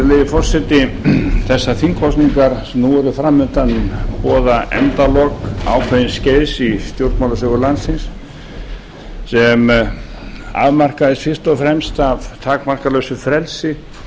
virðulegi forseti þessar þingkosningar sem nú eru fram undan boða endalok ákveðins skeiðs í stjórnmálasögu landsins sem afmarkaðist fyrst og fremst af takmarkalausu frelsi